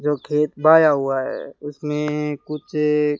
जो खेत बाया हुआ है उसमें कुछ--